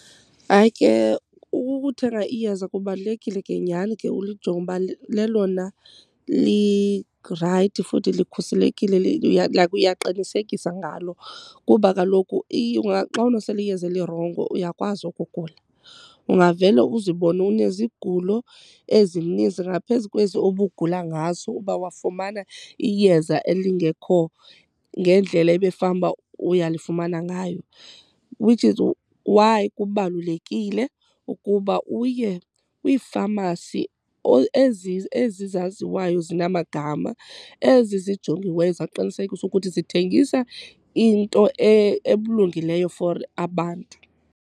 Hayi ke, ukuthenga iyeza kubalulekile ke nyhani ke ulijonge ukuba lelona lirayithi futhi likhuselekile, like uyaqinisekisa ngalo. Kuba kaloku xa unosela iyeza elirongo uyakwazi ukugula. Ungavele uzibone unezigulo ezininzi ngaphezu kwezi ubugula ngaso uba wafumana iyeza elingekho ngendlela ebefanuba uyalifumana ngayo. Which is why kubalulekile ukuba uye kwiifamasi ezi ezi zaziwayo ezinamagama, ezi zijongiweyo zaqinisekisa ukuthi zithengisa into elungileyo for abantu.